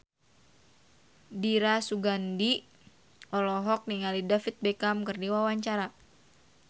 Dira Sugandi olohok ningali David Beckham keur diwawancara